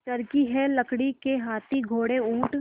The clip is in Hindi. चर्खी है लकड़ी के हाथी घोड़े ऊँट